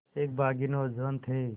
एक बाग़ी नौजवान थे